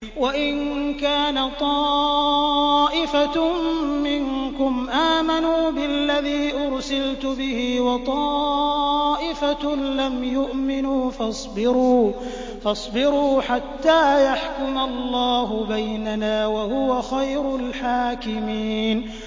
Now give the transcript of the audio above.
وَإِن كَانَ طَائِفَةٌ مِّنكُمْ آمَنُوا بِالَّذِي أُرْسِلْتُ بِهِ وَطَائِفَةٌ لَّمْ يُؤْمِنُوا فَاصْبِرُوا حَتَّىٰ يَحْكُمَ اللَّهُ بَيْنَنَا ۚ وَهُوَ خَيْرُ الْحَاكِمِينَ